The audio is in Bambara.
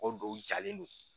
mɔgɔ dɔw jalen do.